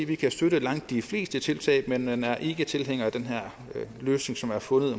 vi kan støtte langt de fleste tiltag men er ikke tilhængere af den her løsning som er fundet